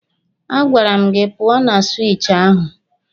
A gwara m gị pụọ na siwichi ahụ!